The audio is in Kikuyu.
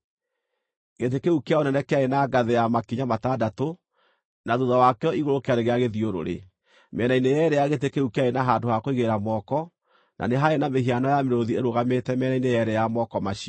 Gĩtĩ kĩu kĩa ũnene kĩarĩ na ngathĩ ya makinya matandatũ, na thuutha wakĩo igũrũ kĩarĩ gĩa gĩthiũrũrĩ. Mĩena-inĩ yeerĩ ya gĩtĩ kĩu kĩarĩ na handũ ha kũigĩrĩra moko, na nĩ haarĩ na mĩhiano ya mĩrũũthi ĩrũgamĩte mĩena-inĩ yeerĩ ya moko macio.